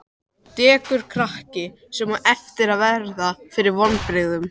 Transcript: Dekurkrakki, sem á eftir að verða fyrir vonbrigðum.